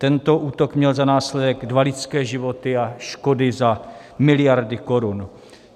Tento útok měl za následek dva lidské životy a škody za miliardy korun.